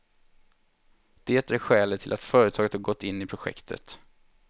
Det är skälet till att företaget har gått in i projektet.